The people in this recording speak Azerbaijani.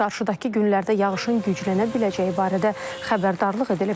Qarşıdakı günlərdə yağışın güclənə biləcəyi barədə xəbərdarlıq edilib.